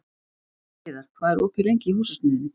Heiðar, hvað er opið lengi í Húsasmiðjunni?